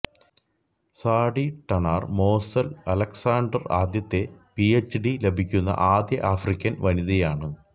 സാഡി Tanner Mossell Alexander ആദ്യത്തെ PhD ലഭിക്കുന്ന ആദ്യ ആഫ്രിക്കൻ വനിതയാണ്